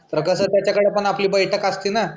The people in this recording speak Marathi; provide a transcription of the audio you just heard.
तर त्याच्याकडे पण आपली बैठक असती ना